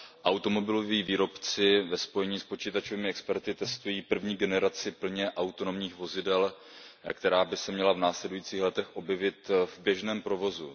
Automobiloví výrobci ve spojení s počítačovými experty testují první generaci plně autonomních vozidel, která by se měla v následujících letech objevit v běžném provozu.